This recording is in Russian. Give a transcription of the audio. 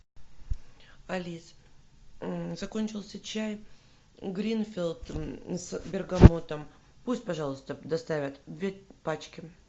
алис закончился чай гринфилд с бергамотом пусть пожалуйста доставят две пачки